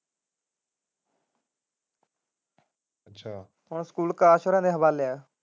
ਹੁਣ ਸਕੂਲ ਆਕਾਸ਼ ਵਾਰਿਆ ਦੇ ਹਵਾਲੇ ਹੈ।